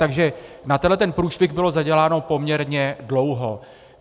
Takže na tento průšvih bylo zaděláno poměrně dlouho.